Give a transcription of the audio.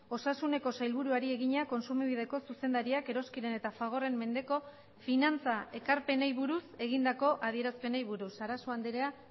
osasuneko sailburuari egina kontsumobideko zuzendariak eroskiren eta fagorren mendeko finantza ekarpenei buruz egindako adierazpenei buruz sarasua andrea